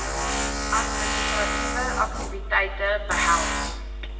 administratiewe aktiwiteite behels